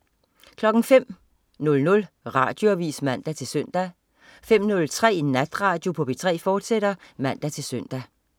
05.00 Radioavis (man-søn) 05.03 Natradio på P3, fortsat (man-søn)